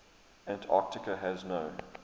antarctica has no